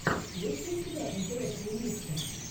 есть ли у тебя интересные миксы